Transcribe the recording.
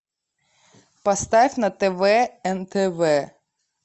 поставь на тв нтв